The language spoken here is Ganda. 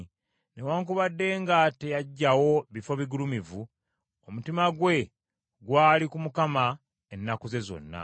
Newaakubadde nga teyaggyawo bifo bigulumivu, omutima gwe gwali ku Mukama ennaku ze zonna.